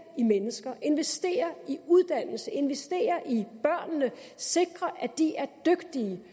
i mennesker investere i uddannelse investere i børnene og sikre at de er dygtige